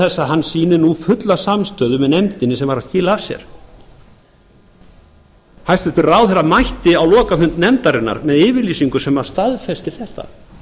að hann sýnir nú fulla samstöðu með nefndinni sem var að skila af sér hæstvirtur ráðherra mætti á lokafund nefndarinnar með yfirlýsingu sem staðfestir þetta